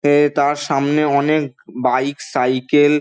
এ তার সামনে অনেক বাইক সাইকেল ।